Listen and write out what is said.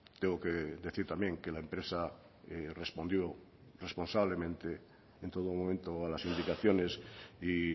tengo que decir también que la empresa respondió responsablemente en todo momento a las indicaciones y